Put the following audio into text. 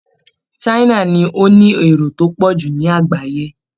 China ni ó ní èrò tó pọ̀ jù ní àgbáyé